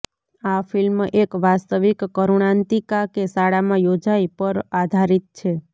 આ ફિલ્મ એક વાસ્તવિક કરૂણાંતિકા કે શાળામાં યોજાઈ પર આધારિત છે